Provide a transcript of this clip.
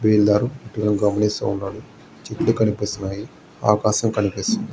చెట్లు కనిపిస్తున్నాయి. ఆకాశం కనిపిస్తుంది.